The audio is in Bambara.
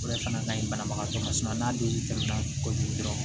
O de fana ka ɲi banabagatɔ ma n'a don tɛmɛna kojugu dɔrɔn